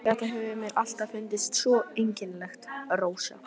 Þetta hefur mér alltaf fundist svo einkennilegt, Rósa.